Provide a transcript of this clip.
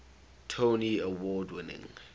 tony award winning